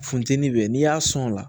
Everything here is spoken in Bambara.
Funtɛnin be n'i y'a sɔn o la